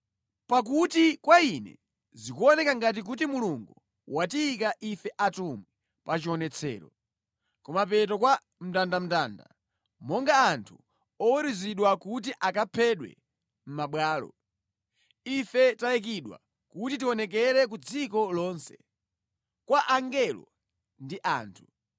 Pakuti kwa ine zikuoneka ngati kuti Mulungu watiyika ife atumwi pachionetsero, kumapeto kwa mndandanda, monga anthu oweruzidwa kuti akaphedwe mʼmabwalo. Ife tayikidwa kuti tionekere ku dziko lonse, kwa angelo ndi anthu.